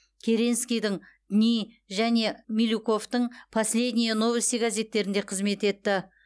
керенскийдің дни және милюковтың последние новости газеттерінде қызмет етті